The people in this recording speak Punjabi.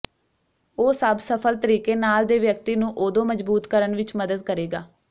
ਉਹ ਸਭ ਸਫਲ ਤਰੀਕੇ ਨਾਲ ਦੇ ਵਿਅਕਤੀ ਨੂੰ ਓਦੋ ਮਜ਼ਬੂਤ ਕਰਨ ਵਿੱਚ ਮਦਦ ਕਰੇਗਾ